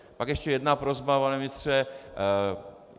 Pak ještě jedna prosba, pane ministře.